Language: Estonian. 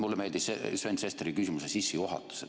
Mulle meeldis Sven Sesteri küsimuse sissejuhatus.